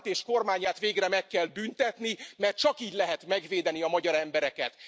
Orbánt és kormányát végre meg kell büntetni, mert csak így lehet megvédeni a magyar embereket.